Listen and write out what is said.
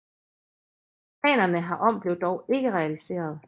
Planerne herom blev dog ikke realiserede